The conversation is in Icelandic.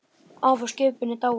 Afi á skipinu er dáinn.